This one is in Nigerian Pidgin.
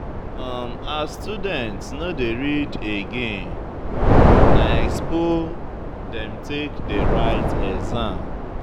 As students no dey read again, na expo dem take dey write exam.